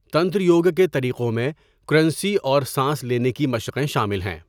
تنتر یوگا کے طریقوں میں کرنسی اور سانس لینے کی مشقیں شامل ہیں۔